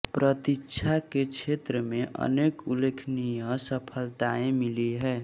प्रतिरक्षा के क्षेत्र में अनेक उल्लेखनीय सफलताएँ मिली हैं